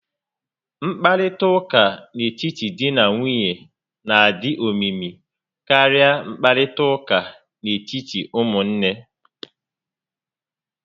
Nkparịta ụka n'etiti dị na nwunye n'adị omimi karịa nkparịta ụka n'etiti ụmụnne